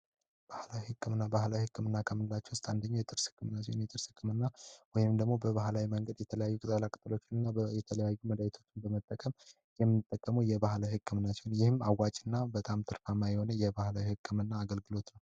ባህላዊ ህክምና ባህላዊ ህክምና ከምላቸው መካከል ውስጥ አንደኛው የጥርስ ህክምና ነው ወይም ደግሞ የተለያዩ መድኃኒቶችን በመጠቀም የምናደርገው ህክምና ሲሆን ይህም አዋጭና በባህል ታማኝ የሆነ ህክምና አይነት ነው።